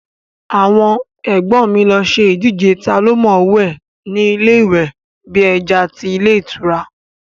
Àwọn ẹ̀gbọ́n mi lọ ṣe ìdíje taa ló mọ̀ọ́wẹ̀ ni ilé ìwẹ̀ bí ẹja tí ilé ìtura